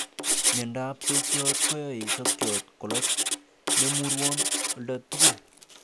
Miondap sokiot koyoe sokyot koloch nemurwon oldatugul.